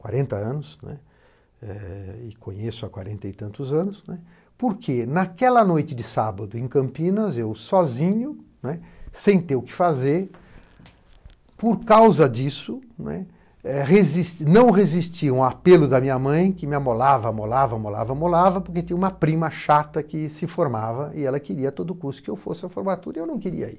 Quarenta anos, né, é... e conheço há quarenta e tantos anos, né, porque naquela noite de sábado em Campinas, eu sozinho, né, sem ter o que fazer, por causa disso, né, eh resis, não resisti um apelo da minha mãe, que me amolava, amolava, amolava, amolava, porque tinha uma prima chata que se formava e ela queria a todo custo que eu fosse à formatura, e eu não queria ir.